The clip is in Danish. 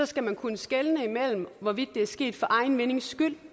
skal der kunne skelnes imellem hvorvidt det er sket for egen vindings skyld